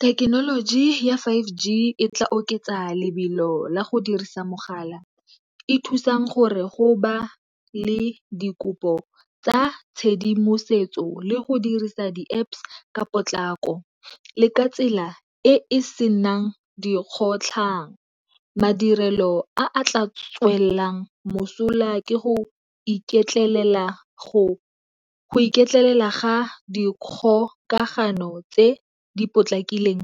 Thekenoloji ya five G e tla oketsa lebelo le go dirisa mogala. E thusang gore go ba le dikopo tsa tshedimosetso le go dirisa di-Apps ka potlako le ka tsela e e senang dikgotlhang. Madirelo a a tla tswelelang mosola ke go iketlela ga dikgokagano tse di potlakileng